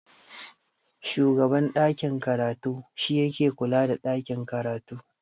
Shugaban ɗakin karatu shi yake kula da ɗakin karatu.